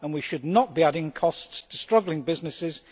And we should not be adding costs to struggling businesses.